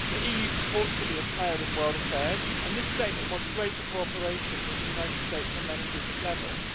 The EU purports to be a player in world affairs, and this statement wants greater cooperation with the United States on many different levels.